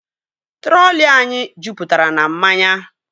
Trọli anyị jupụtara na mmanya